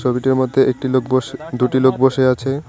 ছবিটির মধ্যে একটি লোক বস দুটি লোক বসে আছে।